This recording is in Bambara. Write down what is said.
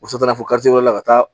O taa la fo la ka taa